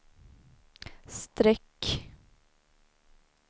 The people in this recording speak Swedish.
streck